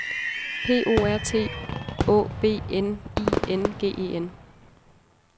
P O R T Å B N I N G E N